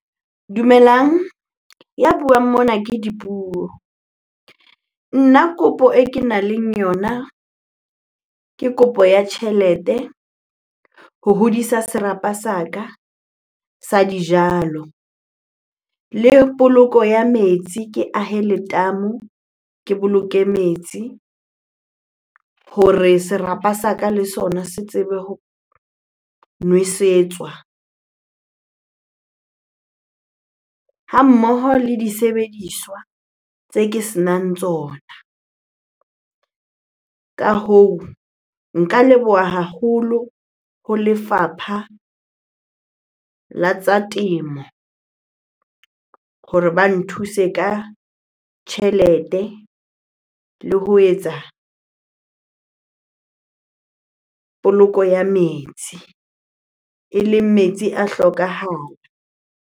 Dumelang, ya buang mona ke Dipuo. Nna kopo e kenang le yona, ke kopo ya tjhelete ho hodisa serapa sa ka sa dijalo. Le poloko ya metsi ke ahe letamo, ke boloke metsi hore serapa sa ka le sona se tsebe ho nwesetswa. Ha mmoho le disebediswa tse ke senang tsona. Ka hoo, nka leboha haholo ho lefapha la tsa temo hore ba nthuse ka tjhelete le ho etsa poloko ya metsi eleng metsi a hlokahala.